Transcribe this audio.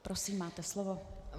Prosím, máte slovo.